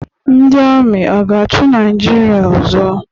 Ndi Amị aga-achi naijiria ọzọ?